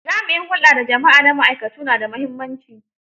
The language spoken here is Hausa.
Jami'in hulɗa da jama'a na ma'aikatu na da muhimmanci.